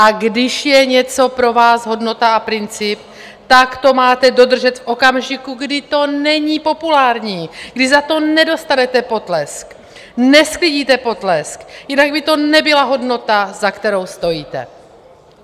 A když je něco pro vás hodnota a princip, tak to máte dodržet v okamžiku, kdy to není populární, kdy za to nedostanete potlesk, nesklidíte potlesk, jinak by to nebyla hodnota, za kterou stojíte."